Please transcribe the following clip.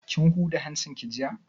Kin huda hancin ki jiya?